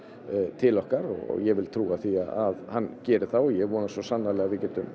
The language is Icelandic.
til okkar og ég vil trúa því að hann geri það og ég vona svo sannarlega að við getum